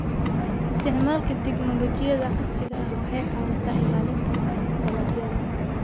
Isticmaalka tignoolajiyada casriga ah waxay caawisaa ilaalinta dalagyada.